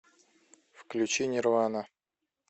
включи нирвана